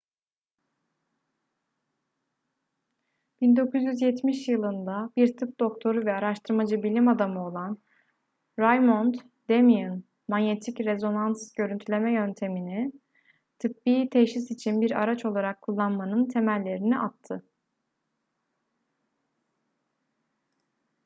1970 yılında bir tıp doktoru ve araştırmacı bilim adamı olan raymond damadian manyetik rezonans görüntüleme yöntemini tıbbi teşhis için bir araç olarak kullanmanın temellerini attı